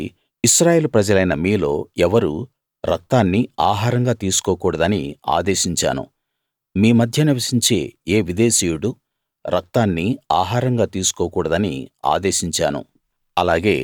కాబట్టి ఇశ్రాయేలు ప్రజలైన మీలో ఎవరూ రక్తాన్ని ఆహారంగా తీసుకోకూడదని ఆదేశించాను మీ మధ్య నివసించే ఏ విదేశీయుడూ రక్తాన్ని ఆహారంగా తీసుకోకూడదని ఆదేశించాను